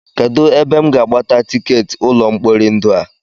Kedụ ebe m ga-agbata tikeetị ụlọ mkpori ndụ a?